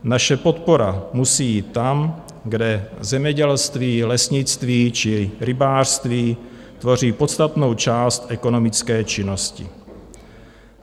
Naše podpora musí jít tam, kde zemědělství, lesnictví či rybářství tvoří podstatnou část ekonomické činnosti.